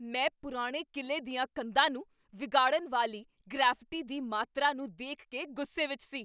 ਮੈਂ ਪੁਰਾਣੇ ਕਿਲ੍ਹੇ ਦੀਆਂ ਕੰਧਾਂ ਨੂੰ ਵਿਗਾੜਨ ਵਾਲੀ ਗ੍ਰੈਫਿਟੀ ਦੀ ਮਾਤਰਾ ਨੂੰ ਦੇਖ ਕੇ ਗੁੱਸੇ ਵਿੱਚ ਸੀ।